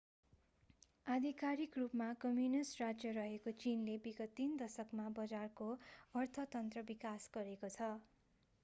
आधिकारिक रूपमा कम्युनिष्ट राज्य रहेको चीनले विगत तीन दशकमा बजारको अर्थतन्त्र विकास गरेको छ